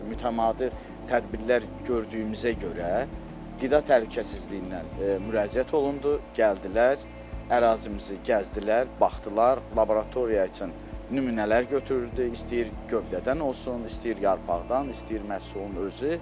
Mütəmadi tədbirlər gördüyümüzə görə qida təhlükəsizliyinə müraciət olundu, gəldilər, ərazimizi gəzdilər, baxdılar, laboratoriya üçün nümunələr götürürdü, istəyir gövdədən olsun, istəyir yarpaqdan, istəyir məhsulun özü.